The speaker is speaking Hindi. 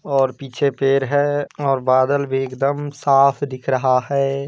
और पीछे पेड़ है और बादल भी एकदम साफ दिख रहा है।